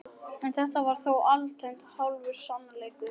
En þetta var þó alltént hálfur sannleikur.